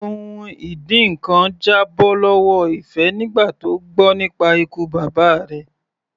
Ohun ìdínkan já bọ́ lọ́wọ́ Ife nígbà tó gbọ́ nípa ikú bàbá rẹ̀.